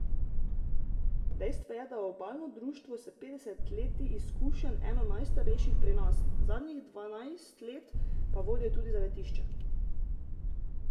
Dejstvo je, da je obalno društvo s petdeset leti izkušenj eno najstarejših pri nas, zadnjih dvanajst let pa vodijo tudi zavetišče.